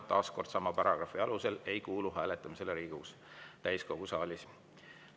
Taas sama paragrahvi alusel ei kuulu hääletamisele Riigikogu täiskogu saalis.